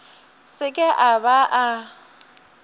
se ke a ba a